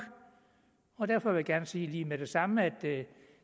og derfor vil jeg gerne sige med det samme at